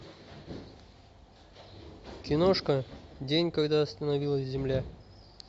киношка день когда остановилась земля